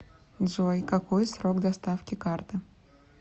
джой какой срок доставки карты